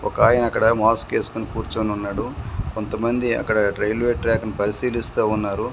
ఒకాయనక్కడ mask ఎస్కొని కూర్చొనున్నాడు కొంతమంది అక్కడ రైల్వే ట్రాక్ ను పరిశీలిస్తా ఉన్నారు.